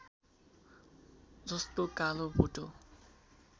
जस्तो कालो भोटो